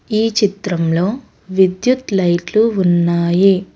ఈ చిత్రంలో విద్యుత్ లైట్లు ఉన్నాయి.